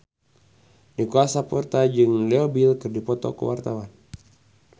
Nicholas Saputra jeung Leo Bill keur dipoto ku wartawan